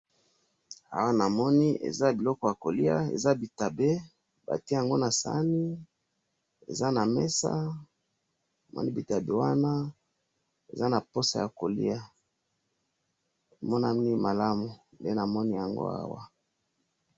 awa namoni eza biloko ya koliya eza bitabe batiye yango na sahani eza na mesa namoni bitabe wana eza na posa ya koliya emonani malamu nde namoni awa.